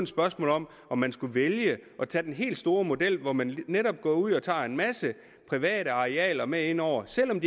spørgsmål om om man skulle vælge at tage den helt store model hvor man netop går ud og tager en masse private arealer med ind over selv om